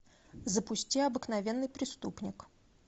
запусти обыкновенный преступник